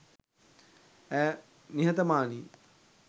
ඇය නිහතමානියි